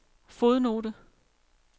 fodnote